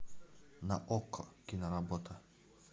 на окко киноработа